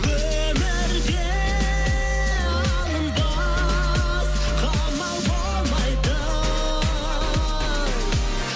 өмірде алынбас қамал болмайды